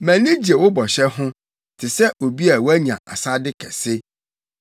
Mʼani gye wo bɔhyɛ ho te sɛ obi a wanya asade kɛse.